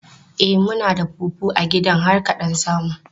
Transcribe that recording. E, muna da fufu a gidan har ka ɗan samu.